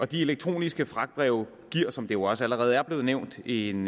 de elektroniske fragtbreve giver som det jo også allerede er blevet nævnt en